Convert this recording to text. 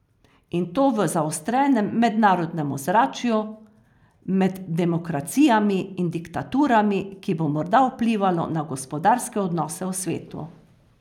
In to v zaostrenem mednarodnem ozračju med demokracijami in diktaturami, ki bo morda vplivalo na gospodarske odnose v svetu.